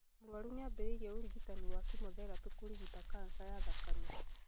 Mũrwaru nĩambĩrĩirie ũrigitani wa kĩmotherapi kũrigita kanja ya thakame